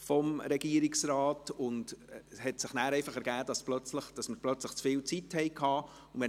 Es ergab sich danach, dass wir plötzlich zu viel Zeit hatten.